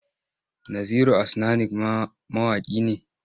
Naziru Asnanik ma mawaƙi ne?